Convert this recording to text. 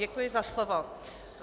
Děkuji za slovo.